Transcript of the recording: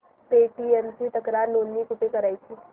Paytm ची तक्रार नोंदणी कुठे करायची